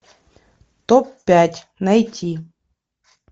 топ пять найти